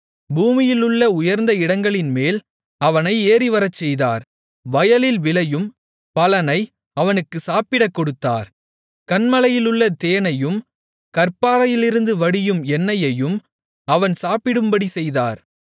பூமியிலுள்ள உயர்ந்த இடங்களின்மேல் அவனை ஏறிவரச்செய்தார் வயலில் விளையும் பலனை அவனுக்குச் சாப்பிடக் கொடுத்தார் கன்மலையிலுள்ள தேனையும் கற்பாறையிலிருந்து வடியும் எண்ணெயையும் அவன் சாப்பிடும்படி செய்தார்